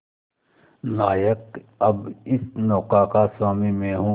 नायक अब इस नौका का स्वामी मैं हूं